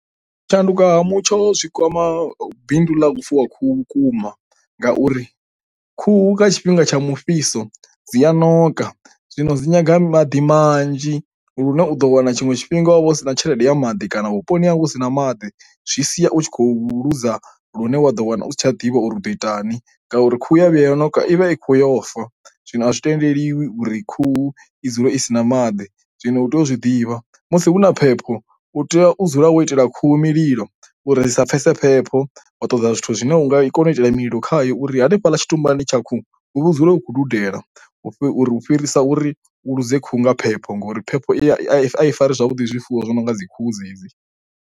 U shanduka ha mutsho zwi kwama bindu ḽa u fuwa khuhu vhukuma ngauri khuhu nga tshifhinga tsha mufhiso dzi a ṋoka, zwino dzi nyanga maḓi manzhi lune u ḓo wana tshiṅwe tshifhinga wa vha u si na tshelede ya maḓi kana vhuponi hau hu si na maḓi zwi sia u tshi khou luza lune wa ḓo wana u si tsha a ḓivha uri u ḓo itani ngauri khuhu ya vhuya ya ṋoka ivha i kho yo fa. Zwino a zwi tendeliwi uri khuhu i dzule i si na maḓi, zwino u tea u zwi ḓivha musi huna phepho u tea u dzula wo itela khuhu mililo uri sa pfhesi phepho wa ṱoḓa zwithu zwine unga i kone u itela mililo khayo uri hanefha ḽa tshitumbani tsha khuhu hu dzule u khou dudela hu u fhirisa uri u luze khuhu nga phepho ngori phepho ai ai fari zwavhuḓi zwifuwo zwi no nga dzi khuhu dzedzi.